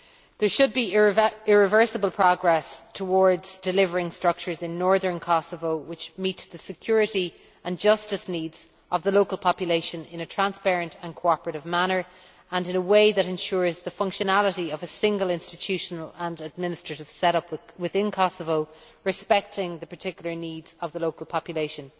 There should be irreversible progress towards delivering structures in northern Kosovo which meet the security and justice needs of the local population in a transparent and cooperative manner, and in a way that ensures the functionality of a single institutional and administrative set up within Kosovo, respecting the particular needs of the local population.